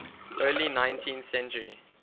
early nineteenth century